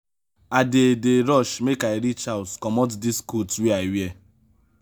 i dey dey rush make i reach house comot dis coat wey i wear.